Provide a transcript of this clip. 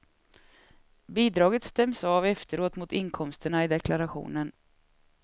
Bidraget stäms av efteråt mot inkomsterna i deklarationen.